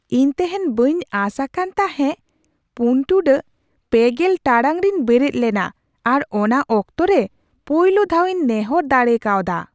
ᱤᱧ ᱛᱮᱦᱮᱧ ᱵᱟᱹᱧ ᱟᱸᱥ ᱟᱠᱟᱱ ᱛᱟᱦᱮᱸ ᱔ᱺ᱓᱐ ᱴᱟᱲᱟᱝ ᱨᱮᱧ ᱵᱮᱨᱮᱫ ᱞᱮᱱᱟ ᱟᱨ ᱚᱱᱟ ᱚᱠᱛᱚ ᱨᱮ ᱯᱳᱭᱞᱳ ᱫᱷᱟᱣᱤᱧ ᱱᱮᱦᱚᱨ ᱫᱟᱲᱮ ᱠᱟᱣᱫᱟ ᱾